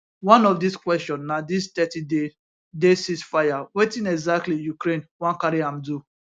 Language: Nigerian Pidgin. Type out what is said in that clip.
one of dis question na dis thirty day day ceasefire wetin exactly ukraine wan carry am do